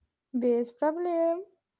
без проблем